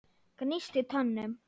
Gnísti tönnum.